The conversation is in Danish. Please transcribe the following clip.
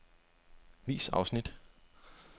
Vis afsnit.